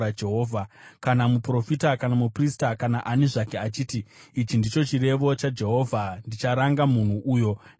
Kana muprofita kana muprista kana ani zvake achiti, ‘Ichi ndicho chirevo chaJehovha,’ ndicharanga munhu uyo nemhuri yake.